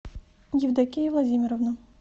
евдокия владимировна